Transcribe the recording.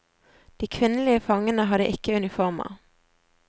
De kvinnelige fangene hadde ikke uniformer.